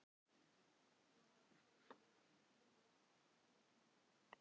Sigurey, bókaðu hring í golf á miðvikudaginn.